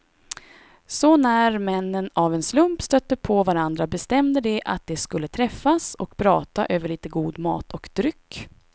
Så när männen av en slump stötte på varandra bestämde de att de skulle träffas och prata över lite god mat och dryck.